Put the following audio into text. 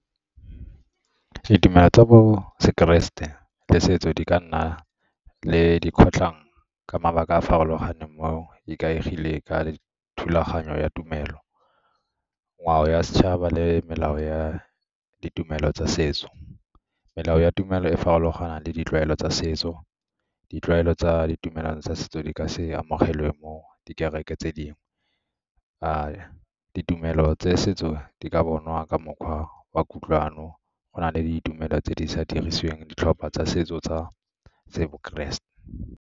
Ditumelo tsa bo sekeresete le setso di ka nna le dikgotlhang ka mabaka a a farologaneng mo ikaegile ka thulaganyo ya tumelo, ngwao ya setšhaba le melao ya ditumelo tsa setso. Melao ya tumelo e farologana le ditlwaelo tsa setso, ditlwaelo tsa ditumelano tsa setso di ka se amogelwe mo di kereke tse dingwe. Ditumelo tsa setso di ka bonwa ka mokgwa wa kutlwano go na le ditumelo tse di sa dirisiweng ditlhopha tsa setso tsa bo keresete.